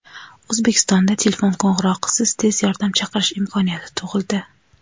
O‘zbekistonda telefon qo‘ng‘irog‘isiz tez yordam chaqirish imkoniyati tug‘ildi.